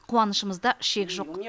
қуанышымызда шек жоқ